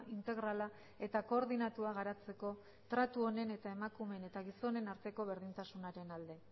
integrala eta koordinatua garatzeko tratu onen eta emakume eta gizonen arteko berdintasunaren alde